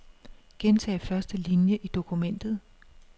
Gentag første linie i dokumentet.